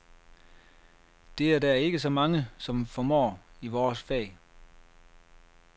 Det er der ikke så mange, som formår, i vores fag.